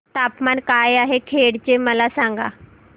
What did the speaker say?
तापमान काय आहे खेड चे मला सांगा